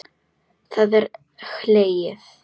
Það er hlegið.